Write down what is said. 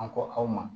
An ko aw ma